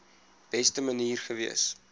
beste manier gewees